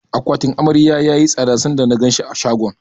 Akwatin Amaryar yayi tsada sanda na ganshi a shagon.